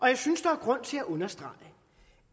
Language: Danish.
jeg synes der er grund til at understrege